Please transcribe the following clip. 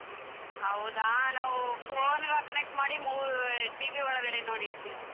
ಹೌದಾ ನಾವು phone ಗ connect ಮಾಡಿ ಮೂ~ TV ಒಳ್ಗಡೆ ನೋಡಿದ್ವಿ.